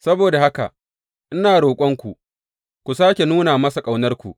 Saboda haka, ina roƙonku, ku sāke nuna masa ƙaunarku.